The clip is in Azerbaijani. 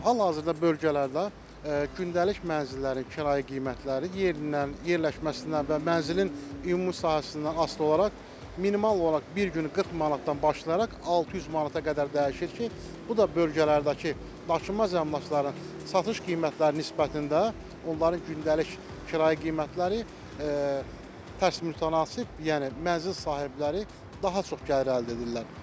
Hal-hazırda bölgələrdə gündəlik mənzillərin kirayə qiymətləri yerindən, yerləşməsindən və mənzilin ümumi sahəsindən asılı olaraq minimal olaraq bir gün 40 manatdan başlayaraq 600 manata qədər dəyişir ki, bu da bölgələrdəki daşınmaz əmlakların satış qiymətləri nisbətində onların gündəlik kirayə qiymətləri tərs mütənasib, yəni mənzil sahibləri daha çox gəlir əldə edirlər.